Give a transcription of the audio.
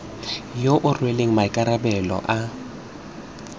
yo o rweleng maikarabelo a